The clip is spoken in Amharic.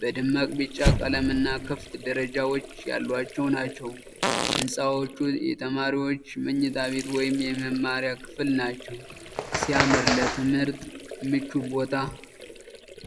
በደማቅ ቢጫ ቀለምና ክፍት ደረጃዎች ያሏቸው ናቸው። ህንፃዎቹ የተማሪዎች መኝታ ቤት ወይም የመማሪያ ክፍል ናቸው ። ሲያምር! ለትምህርት ምቹ ቦታ!